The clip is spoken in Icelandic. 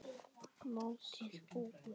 Mótið búið?